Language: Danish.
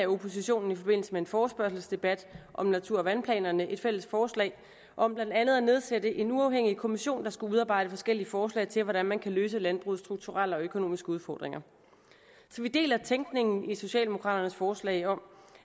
oppositionen i forbindelse med en forespørgselsdebat om natur og vandplanerne et fælles forslag om blandt andet at nedsætte en uafhængig kommission der skulle udarbejde forskellige forslag til hvordan man kan løse landbrugets strukturelle og økonomiske udfordringer så vi deler tænkningen i socialdemokraternes forslag om